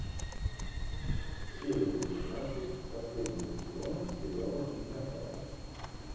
серия девятнадцать последнего сезона сериала инкассаторы